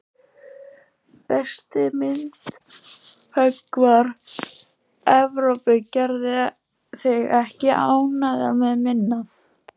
Besti myndhöggvari Evrópu, gerðu þig ekki ánægða með minna.